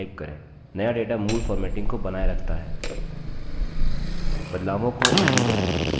नया data मूल formatting को बनाए रखता है बदलावों को undo करें